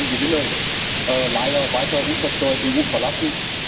So können Gewinne leider weiter unversteuert die EU verlassen.